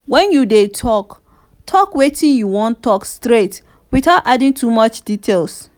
when you you dey talk talk wetin you wan talk straight without adding too much details